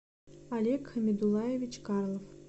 олег хамидуллаевич карлов